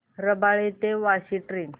रबाळे ते वाशी ट्रेन